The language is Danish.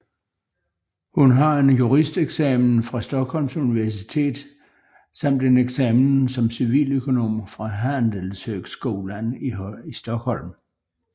Hun har en juristeksamen fra Stockholms Universitet samt en eksamen som civiløkonom fra Handelshögskolan i Stockholm